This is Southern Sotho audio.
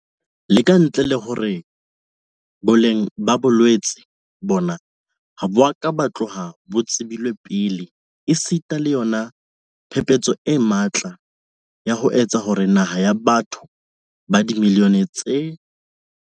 Le ka ntle le hore boleng ba bolwetse bona ha bo a ka ba tloha bo tsebilwe pele esita le yona phephetso e matla ya ho etsa hore naha ya batho ba dimiliyone tse